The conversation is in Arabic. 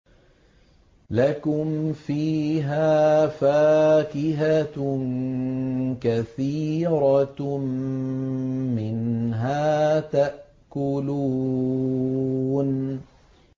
لَكُمْ فِيهَا فَاكِهَةٌ كَثِيرَةٌ مِّنْهَا تَأْكُلُونَ